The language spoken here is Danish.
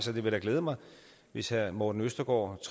vil da glæde mig hvis herre morten østergaard